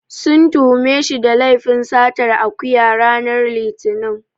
Sun tuhume shi da laifin satar akuya, ranar Litinin.